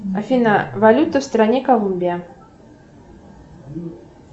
афина валюта в стране колумбия